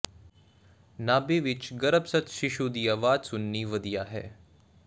ਨਾਭੀ ਵਿਚ ਗਰੱਭਸਥ ਸ਼ੀਸ਼ੂ ਦੀ ਆਵਾਜ਼ ਸੁਣਨੀ ਵਧੀਆ ਹੈ